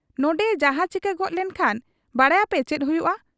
ᱱᱚᱱᱰᱮᱭᱮ ᱡᱟᱦᱟᱸ ᱪᱤᱠᱟᱹ ᱜᱚᱫ ᱞᱮᱱ ᱠᱷᱟᱱ ᱵᱟᱰᱟᱭᱟᱯᱮ ᱪᱮᱫ ᱦᱩᱭᱩᱜ ᱟ ?